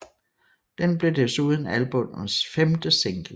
Den blev desuden albummets femte single